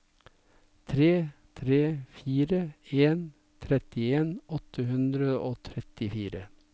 tre tre fire en trettien åtte hundre og trettifire